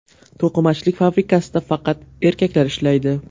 To‘qimachilik fabrikasida faqat erkaklar ishlaydi.